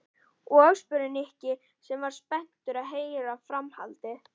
Og? spurði Nikki sem var spenntur að heyra framhaldið.